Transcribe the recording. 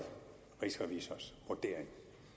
rigsrevisors vurdering